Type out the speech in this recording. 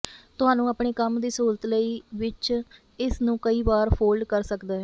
ਤੁਹਾਨੂੰ ਆਪਣੇ ਕੰਮ ਦੀ ਸਹੂਲਤ ਲਈ ਵਿੱਚ ਇਸ ਨੂੰ ਕਈ ਵਾਰ ਫੋਲਡ ਕਰ ਸਕਦਾ ਹੈ